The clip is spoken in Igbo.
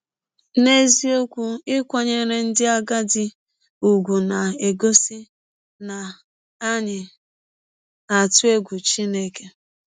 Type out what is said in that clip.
N’eziọkwụ, ịkwanyere ndị agadi ụgwụ na - egọsi na anyị na - atụ egwụ Chineke!